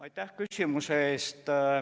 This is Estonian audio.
Aitäh küsimuse eest!